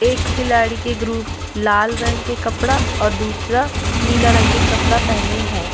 एक खिलाड़ी के ग्रुप लाला रंग के कपड़ा और दूसरा नीला रंग के कपड़ा पहने है।